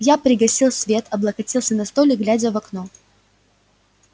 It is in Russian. я пригасил свет облокотился на столик глядя в окно